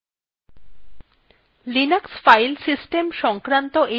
linux file system সংক্রান্ত এই কথ্য টিউটোরিয়ালটিতে স্বাগত জানাচ্ছি